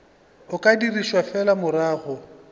o ka dirišwa fela morago